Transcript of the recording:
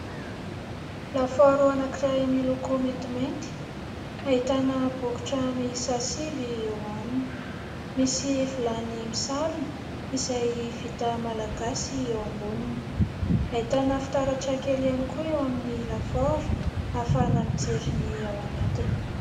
Lafaoro anankiray miloko maintimainty ahitana bokotra miisa sivy eo aminy, misy vilany misarona izay vita Malagasy eo amboniny. Ahitana fitaratra kely ihany koa eo amin'ny lafaoro ahafahana mijery ny ao anatiny.